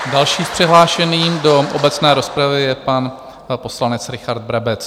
Další přihlášený do obecné rozpravy je pan poslanec Richard Brabec.